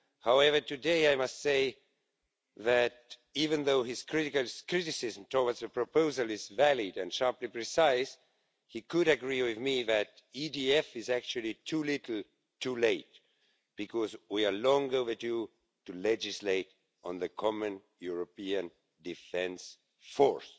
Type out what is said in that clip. However, today I must say that, even though his criticism towards the proposal is valid and sharply precise, he could agree with me that EDF is actually too little too late, because we are long overdue to legislate on the common European Defence Force.